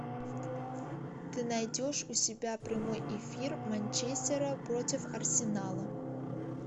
ты найдешь у себя прямой эфир манчестера против арсенала